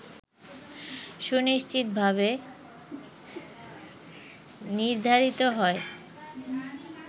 সুনিশ্চিতভাবে নির্ধারিত হয়